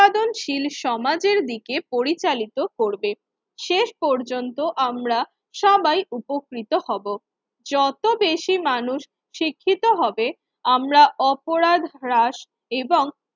দনশীল সমাজের দিকে পরিচালিত করবে। শেষ পর্যন্ত আমরা সবাই উপকৃত হব, যত বেশি মানুষ শিক্ষিত হবে আমরা অপরাধ হ্রাস এবং